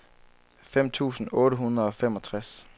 fem tusind otte hundrede og femogtres